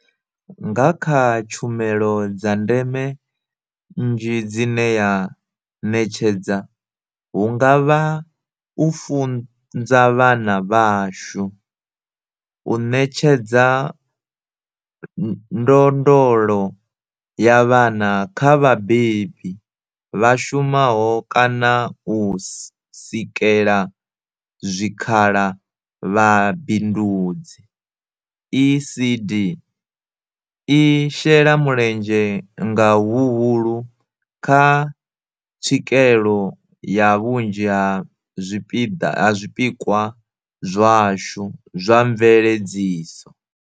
Nga kha tshumelo dza ndeme nnzhi dzine ya ṋetshedza, hu nga vha u funza vhana vhashu, u ṋetshedza ndondolo ya vhana kha vha vhabebi vha shumaho kana u sikela zwikhala vhabindudzi, ECD i shela mulenzhe nga huhulu kha tswikelo ya vhunzhi ha zwipikwa zwashu zwa mveledziso.